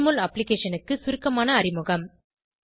JMOL அப்ளிகேஷனுக்கு சுருக்கமான அறிமுகம்